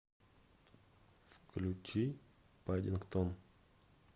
включи паддингтон